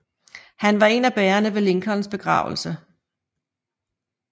Han var en af bærerne ved Lincolns begravelse